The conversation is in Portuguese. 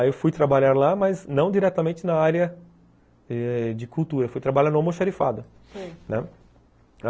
Aí eu fui trabalhar lá, mas não diretamente na área eh de cultura, fui trabalhar no almoxarifado, né, sei.